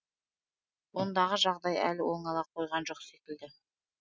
ондағы жағдай әлі оңала қойған жоқ секілді